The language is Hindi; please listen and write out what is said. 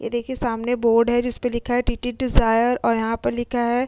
ये देखिए सामने बोर्ड है जिस पर लिखा है टीटी डिजायर और यहाँ पर लिखा है --